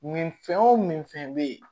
Nin fɛn o fɛn min fɛn bɛ yen